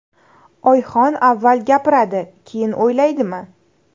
Oyxon avval gapiradi, keyin o‘ylaydimi?